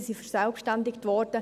sie wurden verselbstständigt.